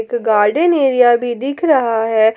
Garden area भी दिख रहा है।